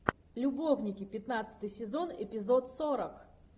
любовники пятнадцатый сезон эпизод сорок